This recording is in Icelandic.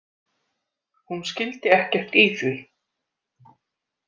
Hún skildi ekkert í því.